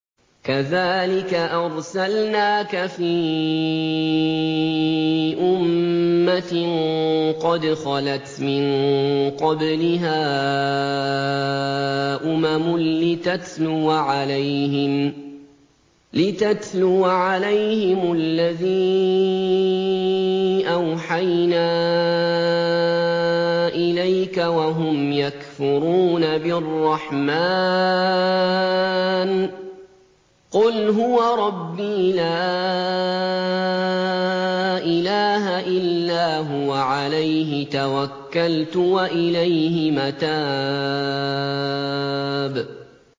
كَذَٰلِكَ أَرْسَلْنَاكَ فِي أُمَّةٍ قَدْ خَلَتْ مِن قَبْلِهَا أُمَمٌ لِّتَتْلُوَ عَلَيْهِمُ الَّذِي أَوْحَيْنَا إِلَيْكَ وَهُمْ يَكْفُرُونَ بِالرَّحْمَٰنِ ۚ قُلْ هُوَ رَبِّي لَا إِلَٰهَ إِلَّا هُوَ عَلَيْهِ تَوَكَّلْتُ وَإِلَيْهِ مَتَابِ